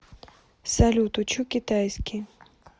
салют учу китайский